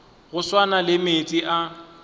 go swana le meetse a